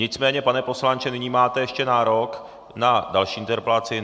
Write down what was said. Nicméně, pane poslanče, nyní máte ještě nárok na další interpelaci.